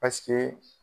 Paseke